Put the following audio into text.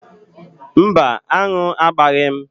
Mba, aṅụ agbaghị m.